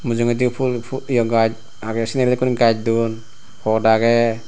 mujungedi phool phul ye gaj aagey seneregun gaj duon pot aagey.